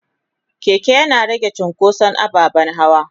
keke Yana rage cunkoson ababen hawa.